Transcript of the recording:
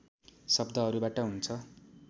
शब्दहरूबाट हुन्छ